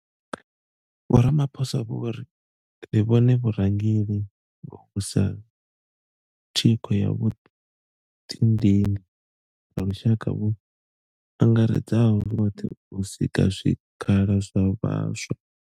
Vho Ramaphosa vho ri, Ri vhona vhurangeli hovhu sa thikho ya vhuḓidini ha lushaka vhu angaredzaho zwoṱhe u sika zwikhala zwa vhaswa.